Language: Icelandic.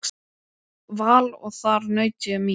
Val og þar naut ég mín.